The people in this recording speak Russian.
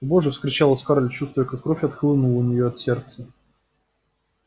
боже вскричала скарлетт чувствуя как кровь отхлынула у неё от сердца